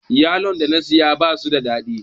Yalon da na siya basu da daɗi